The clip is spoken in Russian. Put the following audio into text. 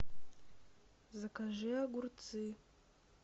закажи огурцы